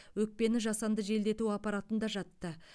өкпені жасанды желдету аппаратында жатты